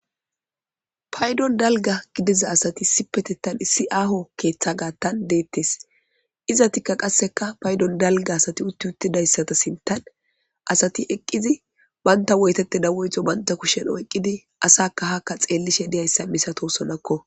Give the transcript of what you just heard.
paydon dalga gidiza asati si petetan issi aho keeththa gaattan deettes izatikka qasseka paydon dalga asati utti uttidayssata sintan asati eqqizi banta woytete dawoyto banta kushen oyqqidi asakka hakka xeellishe deyayssa misatosonakko.